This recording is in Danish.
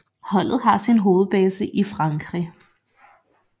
Holdet har sin hovedbase i Frankrig